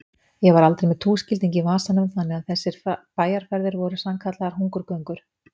Ég var aldrei með túskilding í vasanum þannig að þessar bæjarferðir voru sannkallaðar hungurgöngur.